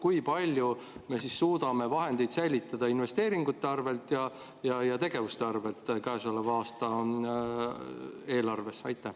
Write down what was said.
Kui palju me suudame vahendeid säilitada investeeringute arvelt ja tegevuste arvelt käesoleva aasta eelarves?